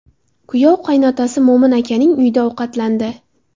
Kuyov qaynotasi Mo‘min akaning uyida ovqatlandi.